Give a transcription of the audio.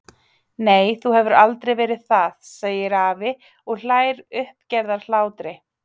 Nei, þú hefur aldrei verið það, segir afi og hlær uppgerðarhlátri.